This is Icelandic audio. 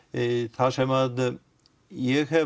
það sem ég hef